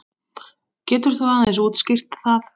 Getur þú aðeins útskýrt það?